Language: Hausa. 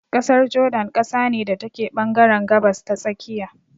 ƙasar jordan ƙasa ne da take ɓangaren gabas ta tsakiya.